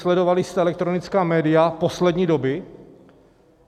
Sledovali jste elektronická média poslední doby?